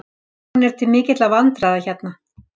Hún er til mikilla vandræða hérna.